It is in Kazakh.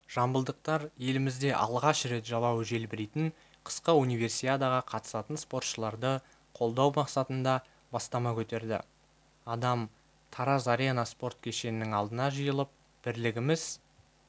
жамбылдықтар елімізде алғаш рет жалауы желбірейтін қысқы универсиадаға қатысатын спортшыларды қолдау мақсатында бастама көтерді адам тараз-арена спорт кешенінің алдына жиылып бірлігіміз